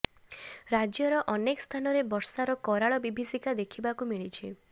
ରାଜ୍ୟର ଅନେକ ସ୍ଥାନରେ ବର୍ଷାର କରାଳ ବିଭୀଷିକା ଦେଖିବାକୁ ମିଳିଛି